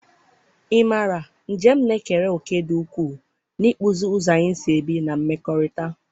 ị mara, njem na-ekere òkè dị ukwuu n'ịkpụzi ụzọ anyị si ebi na mmekọrịta.